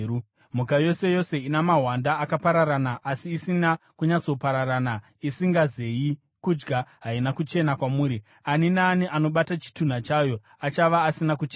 “ ‘Mhuka yose yose ina mahwanda akapararana asi asina kunyatsopararana, isingazeyi kudya, haina kuchena kwamuri; ani naani anobata chitunha chayo achava asina kuchena.